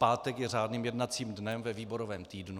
Pátek je řádným jednacím dnem ve výborovém týdnu.